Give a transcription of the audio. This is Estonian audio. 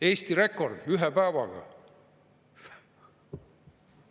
Eesti rekord ühe päevaga!